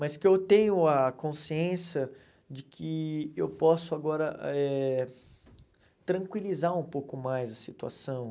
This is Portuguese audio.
Mas que eu tenho a consciência de que eu posso agora eh tranquilizar um pouco mais a situação.